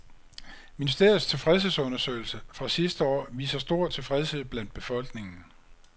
Ministeriets tilfredshedsundersøgelse fra sidste år viser stor tilfredshed blandt befolkningen.